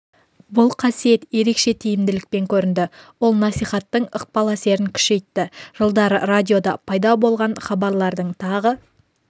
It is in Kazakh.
бұл қасиет ерекше тиімділікпен көрінді ол насихаттың ықпал әсерін күшейтті -жылдары радиода пайда болған хабарлардың тағы